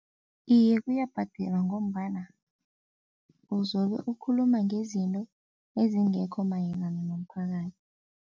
Iye, kuyabhadelwa ngombana uzobe ukhuluma ngezinto ezingekho mayelana nomphakathi.